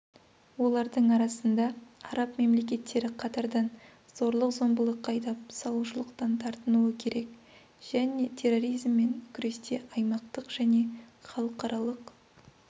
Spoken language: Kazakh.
олардың арасында араб мемлекеттері қатардан зорлық-зомбылыққа айдап салушылықтан тартынуы керек және терроризммен күресте аймақтық және халықаралық